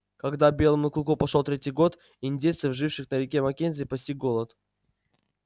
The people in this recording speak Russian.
когда белому клыку пошёл третий год индейцев живших на реке маккензи постиг голод